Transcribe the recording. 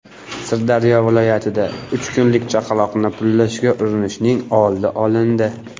Sirdaryo viloyatida uch kunlik chaqaloqni pullashga urinishning oldi olindi.